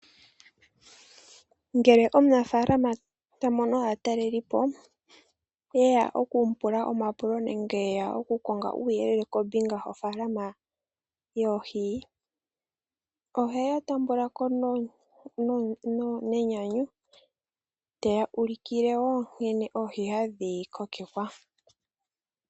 Ngele omunafalama ta mono aatalelipo ye ya oku mu pula omapulo nenge ye ya okukonga uuyelele kombinga yofalama yoohi, ohe ya taambulako nenyanyu, te ya ulikile wo nkene oohi hadhi kokekwa.